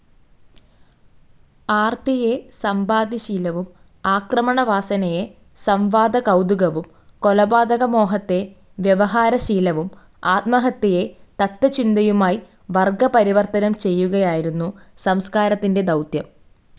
ആർത്തിയെ സമ്പാദ്യശീലവും, ആക്രമണവാസനയെ സം‌വാദകൗതുകവും, കൊലപാതകമോഹത്തെ വ്യവഹാരശീലവും, ആത്മഹത്യയെ തത്ത്വചിന്തയുമായി വർഗ്ഗപരിവർത്തനം ചെയ്യുകയായിരുന്നു സംസ്കാരത്തിന്റെ ദൗത്യം.